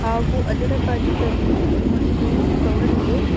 ಹಾಗು ಅದರ ಬಾಜುದಲ್ಲಿ ಒಂದು ಕವರ್ ಇದೆ.